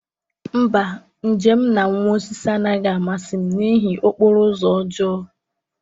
mba, njem m na nwa osisi anaghị amasị m n'ihi okporo ụzọ ọjọọ